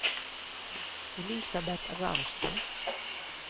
Elisabeth Ramstad